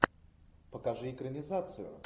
покажи экранизацию